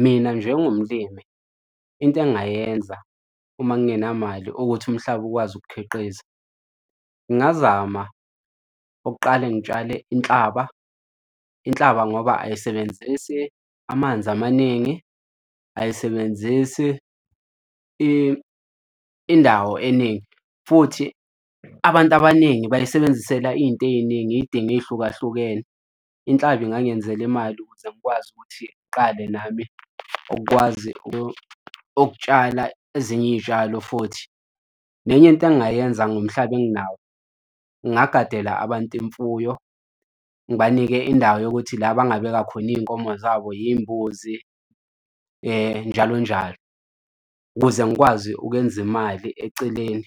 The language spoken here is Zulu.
Mina njengomlimi, into engingayenza uma ngingenamali ukuthi umhlaba ukwazi ukukhiqiza, ngingazama ukuqale ngitshale inhlaba, inhlaba ngoba ayisebenzisi amanzi amaningi ayisebenzisi indawo eningi. Futhi abantu abaningi bayisebenzisela iy'nto ey'ningi iy'dingo ey'hlukahlukene inhlaba engangenzela imali ukuze ngikwazi ukuthi ngqale nami ukwazi ukutshala ezinye iy'tshalo futhi. Nenye into engingayenza ngomhlaba enginawo ngingagadela abantu imfuyo ngibanike indawo yokuthi la bangabeka khona iy'nkomo zabo yimbuzi njalo njalo, ukuze ngikwazi ukwenza imali eceleni,